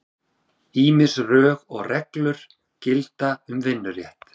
Ýmis rög og reglur gilda um vinnurétt.